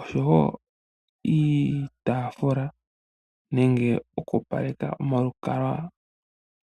oshowo iitaafula nenge oku opaleka omalukalwa.